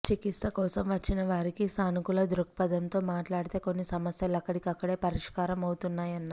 చికిత్స కోసం వచ్చిన వారికి సానుకూల ధృక్పధంతో మాట్లాడితే కొన్ని సమస్యలు అక్కడికక్కడే పరిష్కారం అవుతాయన్నారు